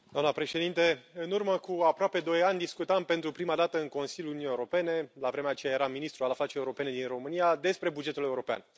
Doamna președintă, în urmă cu aproape doi ani discutam pentru prima dată în Consiliul Uniunii Europene, la vremea aceea eram ministru al afacerilor europene din România, despre bugetul european.